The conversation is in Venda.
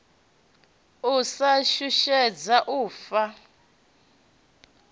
u sa shushedzwa u ofha